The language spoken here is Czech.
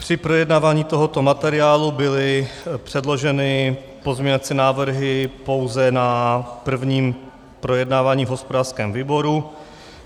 Při projednávání tohoto materiálu byly předloženy pozměňovací návrhy pouze na prvním projednávání v hospodářském výboru.